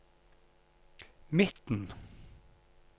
midten